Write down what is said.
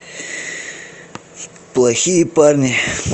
плохие парни